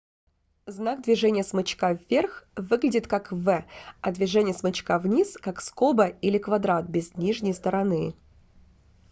знак движения смычка вверх выглядит как v а движение смычка вниз как скоба или квадрат без нижней стороны